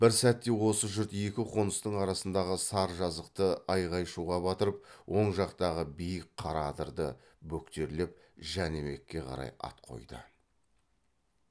бір сәтте осы жұрт екі қоныстың арасындағы сар жазықты айғай шуға батырып оң жақтағы биік қара адырды бөктерлеп жәнібекке қарай ат қойды